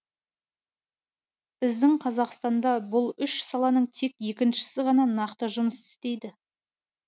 біздің қазақстанда бұл үш саланың тек екіншісі ғана нақты жұмыс істейді